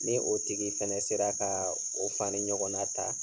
Ni o tigi fɛnɛ sera kaa o fani ɲɔgɔnna ta